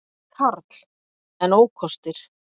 Karl: En ókostir?